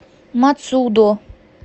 мацудо